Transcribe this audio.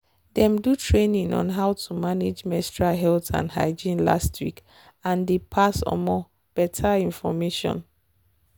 them do training on how to manage menstrual health and hygiene last week and them pass um better information.